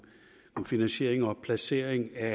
om finansiering og placering af